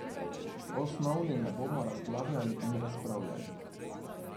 O snovni ne bomo razglabljali ali razpravljali.